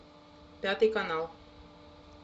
пятый канал